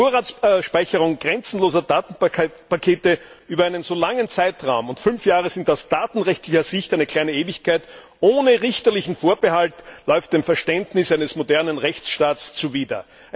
Die Vorratsspeicherung grenzenloser Datenpakete über einen so langen Zeitraum und fünf Jahre sind aus datenrechtlicher Sicht eine kleine Ewigkeit ohne richterlichen Vorbehalt läuft dem Verständnis eines modernen Rechtsstaats zuwider.